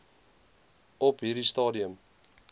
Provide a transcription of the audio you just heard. op hierdie stadium